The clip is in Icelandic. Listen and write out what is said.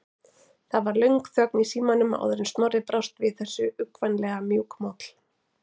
Það varð löng þögn í símanum áður en Snorri brást við þessu, uggvænlega mjúkmáll.